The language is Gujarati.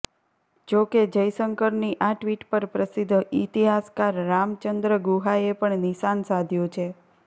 જો કે જયશંકરની આ ટ્વીટ પર પ્રસિદ્ધ ઈતિહાસકાર રામચંદ્ર ગુહાએ પણ નિશાન સાધ્યું છે